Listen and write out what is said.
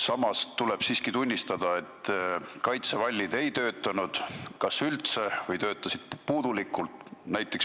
Samas tuleb tunnistada, et kaitsevallid ei töötanud kas üldse või töötasid puudulikult.